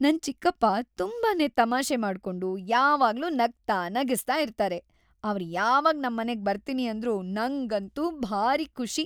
ನನ್ ಚಿಕ್ಕಪ್ಪ ತುಂಬಾನೇ ತಮಾಷೆ ಮಾಡ್ಕೊಂಡು ಯಾವಾಗ್ಲೂ ನಗ್ತಾ ನಗಿಸ್ತಾ ಇರ್ತಾರೆ, ಅವ್ರ್‌ ಯಾವಾಗ್‌ ನಮ್ಮನೆಗ್‌ ಬರ್ತೀನಿ ಅಂದ್ರೂ ನಂಗಂತೂ ಭಾರೀ ಖುಷಿ.